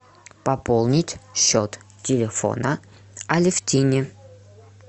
пополнить счет телефона алевтине